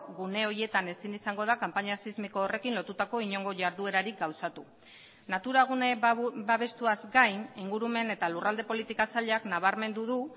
gune horietan ezin izango da kanpaina sismiko horrekin lotutako inongo jarduerarik gauzatu natura gune babestuaz gain ingurumen eta lurralde politika sailak nabarmendu du